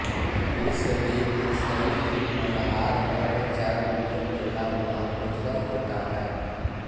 इस दिन निसईजी मल्हारगढ़चांद में मेला महोत्सव होता है